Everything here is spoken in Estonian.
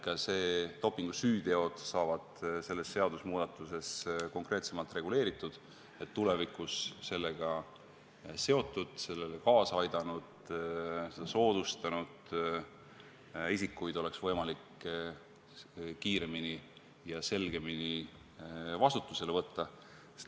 Ka dopingusüüteod saavad selle seadusemuudatusega konkreetsemalt reguleeritud, et tulevikus oleks sellega seotud, sellele kaasa aidanud, seda soodustanud isikuid võimalik kiiremini ja selgemini vastutusele võtta.